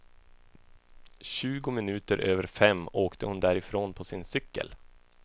Tjugo minuter över fem åkte hon därifrån på sin cykel.